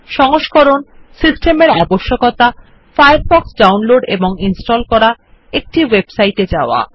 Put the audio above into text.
সংস্করণ সিস্টেমের আবশ্যকতা ফায়ারফ্ক্ষ ডাউনলোড এবং ইনস্টল করা একটি ওয়েবসাইট এ যাওয়া